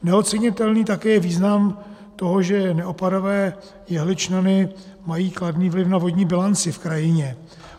Neocenitelný je také význam toho, že neopadavé jehličnany mají kladný vliv na vodní bilanci v krajině.